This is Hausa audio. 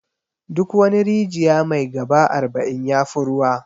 Duk wani rijiya mai 'gaba' arba'in yafi ruwa.